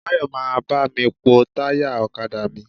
Báyọ̀ máa bá mi pọ́ táyà ọ̀kadà mi.